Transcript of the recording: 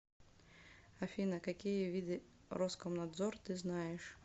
афина какие виды роскомнадзор ты знаешь